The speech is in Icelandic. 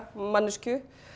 manneskju